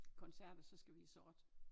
Koncerter så skal vi have sort